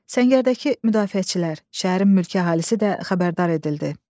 Səngərdəki müdafiəçilər, şəhərin mülki əhalisi də xəbərdar edildi.